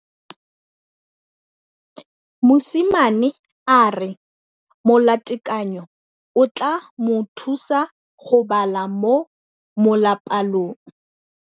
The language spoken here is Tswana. Mosimane a re molatekanyô o tla mo thusa go bala mo molapalong.